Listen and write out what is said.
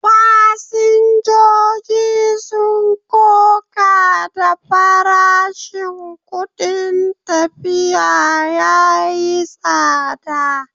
Fasinjojin sun koka da farashin kudin tafiya yayi tsada.